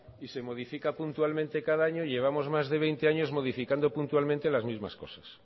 y se modifica puntualmente cada año y llevamos más de veinte años modificando puntualmente las mismas cosas